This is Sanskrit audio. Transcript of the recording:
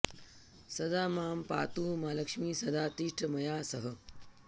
सदा मां पातु मालक्ष्मि सदा तिष्ठ मया सह